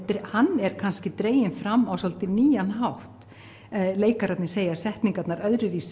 hann er kannski dreginn fram á svolítið nýjan hátt leikararnir segja setningarnar öðruvísi